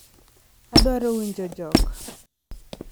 Adwaro winjo jok